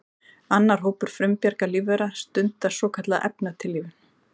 Annar hópur frumbjarga lífvera stundar svokallaða efnatillífun.